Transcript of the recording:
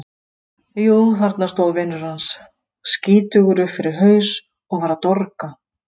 Jú, þarna stóð vinur hans, skítugur upp fyrir haus og var að dorga.